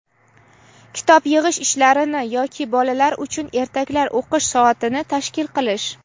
kitob yig‘ish ishlarini yoki bolalar uchun ertaklar o‘qish soatini tashkil qilish;.